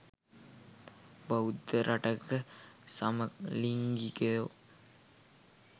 බෞද්ධ රටක සමලිංගිකයො